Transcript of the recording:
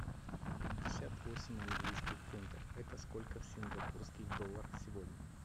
пятьдесят восемь английских фунтов это сколько в сингапурских долларах сегодня